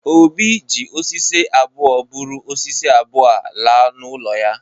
Obi ji osisi abụọ buru osisi abụọ a laa n’ụlọ ya